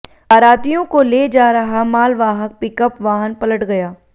बारातियों को ले जा रहा मालवाहक पिकअप वाहन पलट गया